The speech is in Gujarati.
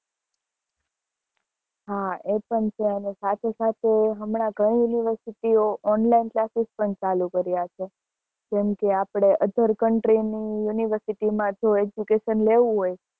હ સાથે સાથે હમણાં ઘણી university ઓ online classes પણ ચાલુ કર્યા છે જેમ કે આપડે other country ની university માં જો education લેવું હોય